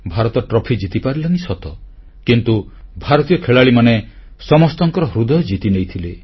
Bharat trophy ଜିତିପାରିଲାନି ସତ କିନ୍ତୁ ଭାରତୀୟ ଖେଳାଳିମାନେ ସମସ୍ତଙ୍କର ହୃଦୟ ଜିତିନେଇଥିଲେ